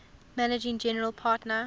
managing general partner